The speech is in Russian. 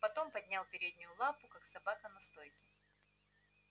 потом поднял переднюю лапу как собака на стойке